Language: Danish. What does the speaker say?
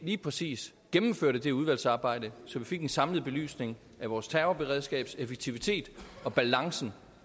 lige præcis gennemførte det udvalgsarbejde så vi fik en samlet belysning af vores terrorberedskabs effektivitet og balancen